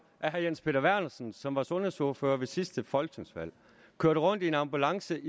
at herre jens peter vernersen som var sundhedsordfører ved sidste folketingsvalg kørte rundt i en ambulance